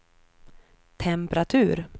temperatur